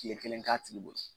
Tile kelen k'a tigi bolo.